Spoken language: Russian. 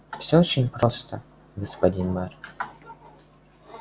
всё очень просто господин мэр